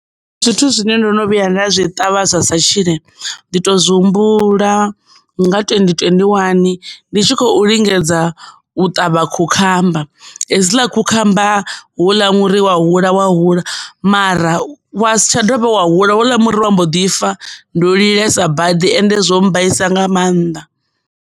Ndi zwithu zwine ndo no vhuya nda zwi ṱavha zwasa tshile ndi to zwi humbula nga twendi twendi wani ndi tshi khou lingedza u ṱavha khukhamba, hedzila khukhamba hola muri wa hula wa hula mara wa si tsha dovha wa hula hola muri wa mbo ḓi fa ndo lilela badi ende zwo mbaisa nga mannḓa.